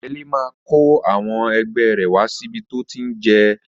Ẹyẹlé máa kó àwọn ẹgbẹ́ rẹ̀ wá síbi tó ti ń ri jẹ